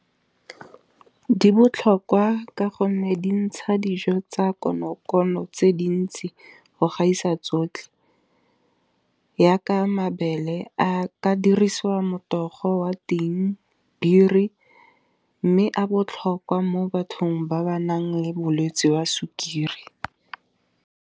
Di botlhokwa ka gonne dintsha dijo tsa konokono tse dintsi go gaisa tsotlhe. Jaaka mabele a ka dirisiwa motogo wa tiing biri, mme a botlhokwa mo bathong ba ba nang le bolwetse jwa sukiri.